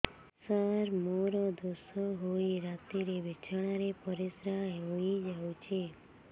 ସାର ମୋର ଦୋଷ ହୋଇ ରାତିରେ ବିଛଣାରେ ପରିସ୍ରା ହୋଇ ଯାଉଛି